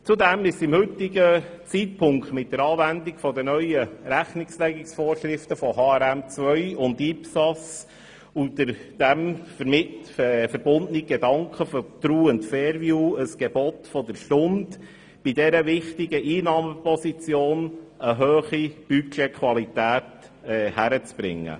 Zudem ist es zum heutigen Zeitpunkt mit der Anwendung der neuen Rechnungslegungsvorschriften von HRM2 und IPSAS und dem damit verbundenen Gedanken der «true and fair view» ein Gebot der Stunde, bei dieser wichtigen Einnahmeposition eine hohe Budgetqualität hinzubekommen.